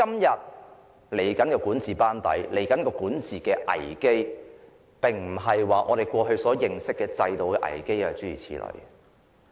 未來的管治班子及管治危機，並不是我們過去所認識的制度危機。